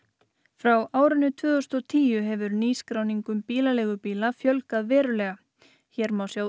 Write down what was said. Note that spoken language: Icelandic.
frá árinu tvö þúsund og tíu hefur nýskráningum bílaleigubíla fjölgað verulega hér má sjá